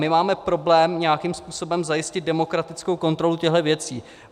My máme problém nějakým způsobem zajistit demokratickou kontrolu těchto věcí.